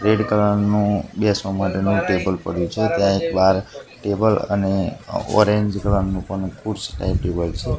Red colour નુ બેસવા માટેનુ ટેબલ પડ્યુ છે ત્યાં એક બાર ટેબલ અને ઓરેન્જ કલર નુ પણ ખુરસી ટાઈપ ટેબલ છે.